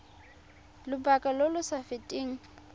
lobaka lo lo sa feteng